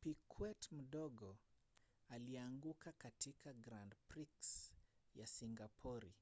piquet mdogo alianguka katika grand prix ya singapori